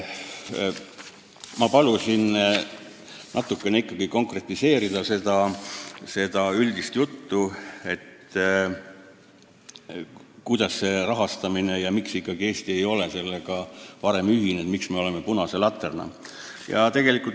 Ma palusin seda üldist juttu ikkagi natukene konkretiseerida: kuidas see rahastamine käib ja miks ikkagi Eesti ei ole sellega varem ühinenud, miks me oleme olnud punane latern.